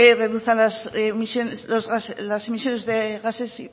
reduzcan las emisiones de gases